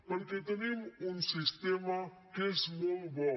perquè tenim un sistema que és molt bo